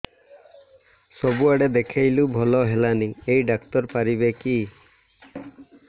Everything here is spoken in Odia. ସବୁଆଡେ ଦେଖେଇଲୁ ଭଲ ହେଲାନି ଏଇ ଡ଼ାକ୍ତର ପାରିବେ କି